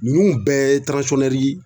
Nunnu bɛɛ ye tiransɔnnɛri